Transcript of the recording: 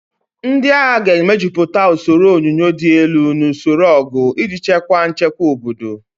Ndị agha ga-emejuputa usoro onyunyo dị elu na usoro ọgụ iji chekwaa nchekwa obodo.